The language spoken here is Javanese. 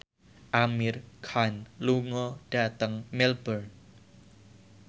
Amir Khan lunga dhateng Melbourne